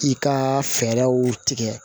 I ka fɛɛrɛw tigɛ